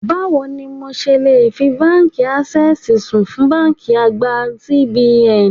Báwo ni mo ṣe le fi Báńkì Ásẹ́sìì sùn fún báńkì àgbà CBN?